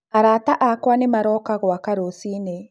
Arata akwa nĩmarooka gwakwa rũcinĩ.